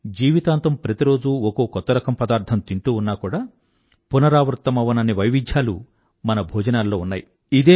జీవితాంతం ప్రతి రోజూ ఒకో కొత్త రకం పదార్థం తింటూ ఉన్నా కూడా పునరావృత్తo అవ్వనన్ని వైవిధ్యాలు మన భోజనాలలో ఉన్నాయి